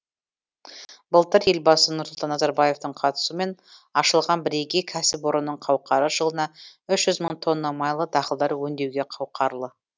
былтыр елбасы нұрсұлтан назарбаевтың қатысуымен ашылған бірегей кәсіпорынның қауқары жылына үш жүз мың тонна майлы дақылдар өңдеуге қауқарлы